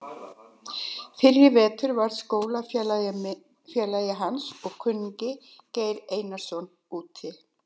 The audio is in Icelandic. Fyrr í vetur varð skólafélagi hans og kunningi, Geir Einarsson, úti.